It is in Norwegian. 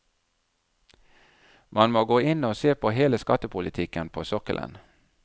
Man må gå inn og se på hele skattepolitikken på sokkelen.